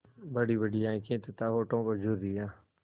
बड़ीबड़ी आँखें तथा होठों पर झुर्रियाँ